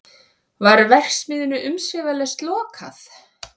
Var verksmiðjunni umsvifalaust lokað